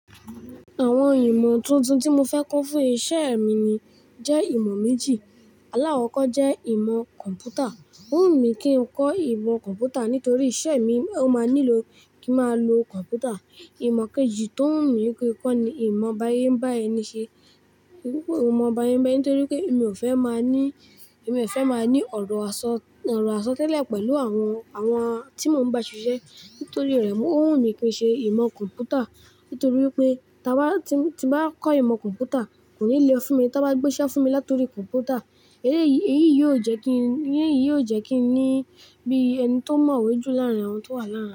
Àwọn ìmọ̀ tuntun tí mo fẹ́ kọ́ fún iṣẹ́ mi ni jẹ́ ìmọ̀ méjì. Alakọkọ jẹ́ ìmọ̀ kọ̀m̀pútà. Ó wù mí kí n kọ́ ìmọ̀ kọ̀m̀pútà nítorí iṣẹ́ mi, ó máa nílò kín máa lo kọ̀m̀pútà. Ìmọ̀ kejì tó wù mí kí n kọ́ ni ìmọ̀ bá ṣe ń bá ẹni ṣe. Mo fẹ́ kọ ìmọ̀ báyébáyé nítorí pé mi ò fẹ́ máa ní, mi ò fẹ́ máa ní ọ̀rọ̀ àsọtẹ́lẹ̀ pẹ̀lú àwọn, àwọn tí mo ń bá ṣiṣẹ́. Nítorí rẹ̀, ó wù mí kí n ṣe ìmọ̀ kọ̀m̀pútà. Nítorí wípé tí n bá kọ́ ìmọ̀ kọ̀mpútà kò ní le fún mi tán bá gbéṣẹ́ fúnmi látorí kọ̀mpútà eléyi èyí yóò jẹ́ kí n ní bí ẹni tó mọ̀wé jù láàrin àwọn tó wà láàrin.